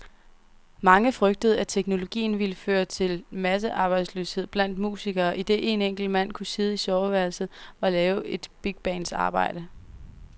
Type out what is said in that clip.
Mange frygtede, at teknologien ville føre til massearbejdsløshed blandt musikere, idet en enkelt mand kunne sidde i soveværelset og lave et bigbands arbejde.